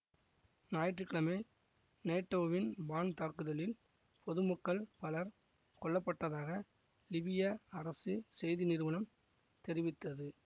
ஞாயிற்று கிழமை நேட்டோவின் வான் தாக்குதலில் பொதுமக்கள் பலர் கொல்ல பட்டதாக லிபிய அரசு செய்தி நிறுவனம் தெரிவித்தது